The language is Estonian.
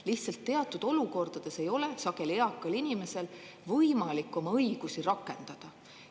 Lihtsalt teatud olukordades ei ole sageli eakal inimesel võimalik oma õigusi rakendada.